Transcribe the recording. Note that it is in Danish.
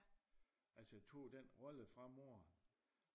Altså tog den rolle fra moderen